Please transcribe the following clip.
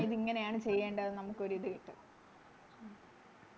ഇതെങ്ങനെയാണ് ചെയ്യേണ്ടതെന്ന് നമുക്കൊരു ഇത് കിട്ടും